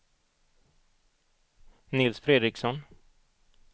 Nils Fredriksson